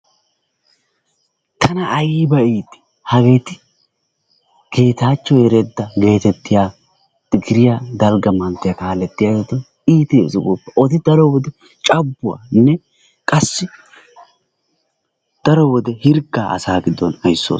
Tana ayba iitii! Hageeti geetachoo Eredaa getettiyaa tigiriyaa dalgga manttiyaa kalettiyaageti iittesi gooppa. Oodi daro wode cabbuwaanne qassi daro wode hirggaa asaa giddon aysoosona.